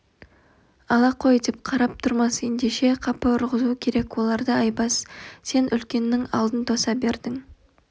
ала қой деп қарап тұрмас ендеше қапы ұрғызу керек оларды айбас сен үлкеннің алдын тоса бердің